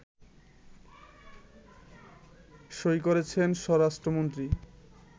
সই করেছেন স্বরাষ্ট্রমন্ত্রী